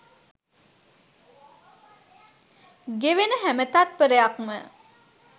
ගෙවෙන හැම තත්ත්පරයක්ම